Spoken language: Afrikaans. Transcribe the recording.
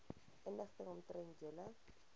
inligting omtrent julle